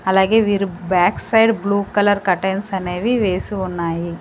అలాగే వీరు back side blue colour curtains అనేవి వేసి ఉన్నాయి.